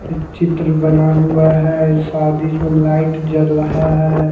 एक चित्र बना हुआ है ई शादी इसमें लाइट जल रहा है।